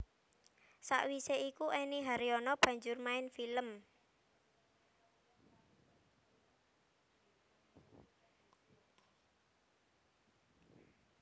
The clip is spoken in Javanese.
Sawisé iku Enny Haryono banjur main film